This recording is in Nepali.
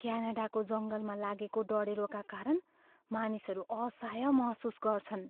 क्यानाडाको जङ्गलमा लागेको डढेलोका कारण मानिसहरू असहाय महसुस गर्छन्।